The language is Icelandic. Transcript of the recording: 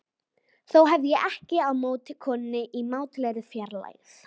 Þó hef ég ekkert á móti konunni í mátulegri fjarlægð.